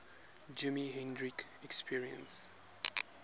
jimi hendrix experience